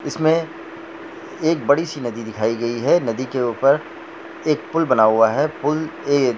इसमें एक बड़ी सी नदी दिखाई गई है नदी के ऊपर एक पूल बना हुआ है। पूल ये--